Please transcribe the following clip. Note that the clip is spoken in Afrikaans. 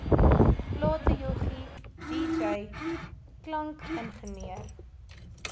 platejoggie dj klankingenieur